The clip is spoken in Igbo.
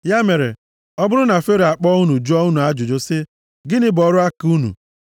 Ya mere, ọ bụrụ na Fero akpọ unu jụọ unu ajụjụ sị, ‘Gịnị bụ ọrụ aka unu?’